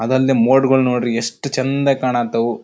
ಅದಲ್ದೆ ಮೋಡ್ ಗಳು ನೋಡ್ರಿ ಎಸ್ಟ್ ಚಂದ ಕಾಣಾ ಹತ್ತವು.